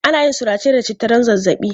Ana yin surace da citta don zazzaɓi.